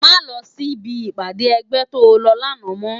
Má lò si bi ipàdé ègbè tó lò làná mò